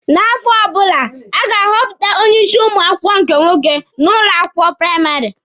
N'afọ ọbụla, a ga-ahọpụta onye isi ụmụ akwụkwọ nke nwoke n'ụlọ akwụkwọ praịmarị.